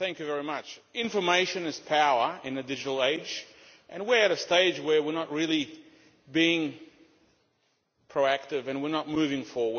Madam President, information is power in a digital age, and we are at a stage where we are not really being proactive and we are not moving forward.